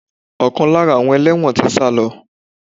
Ọkan lára àwọn ẹlẹ́wọ̀n tí sálọ.